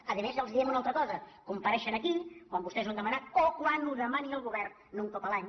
a més els diem una altra cosa compareixen aquí quan vostès ho han demanat o quan ho demani el govern no un cop l’any